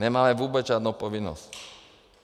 Nemáme vůbec žádnou povinnost.